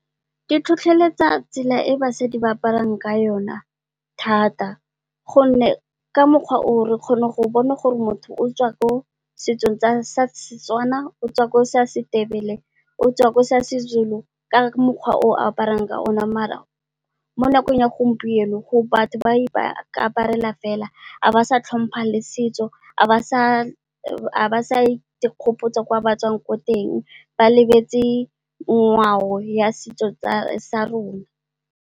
Ke tlhotlheletsa tsela e basadi ba aparang ka yona thata. Gonne, ka mokgwa oo re kgona go bona gore motho o tswa ko setsong sa Setswana o tswa ko sa Setebele, o tswa ko sa Sezulu, ka mokgwa o aparang ka yona. Maar mo nakong ya gompieno batho ba ikaparela fela ga ba sa tlhompha le setso, ga ba sa ikgopotsa kwa batswang teng ba lebetse ngwao ya setso sa rona.